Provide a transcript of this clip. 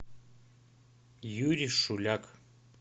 юрий шуляк